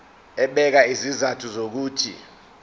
ebeka izizathu zokuthi